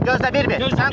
Gözlə, bir-bir.